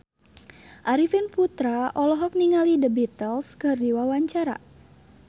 Arifin Putra olohok ningali The Beatles keur diwawancara